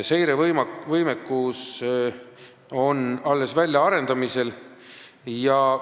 Seirevõimekus on neil alles väljaarendamisel.